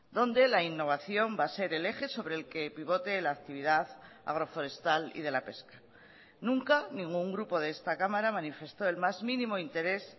donde la innovación va a ser el eje sobre el que pivote la actividad agroforestal y de la pesca nunca ningún grupo de esta cámara manifestó el más mínimo interés